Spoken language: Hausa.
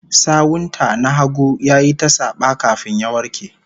Sawun ta na hagu yayi ta saba, kafin ya warke